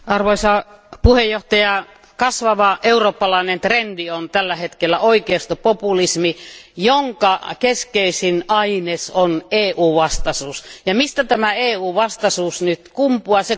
Arvoisa puhemies, kasvava eurooppalainen trendi on tälle hetkellä oikeistopopulismi, jonka keskeisin aines on EU vastaisuus. Mistä tämä EU vastaisuus nyt kumpuaa?